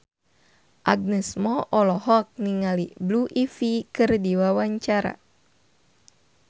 Agnes Mo olohok ningali Blue Ivy keur diwawancara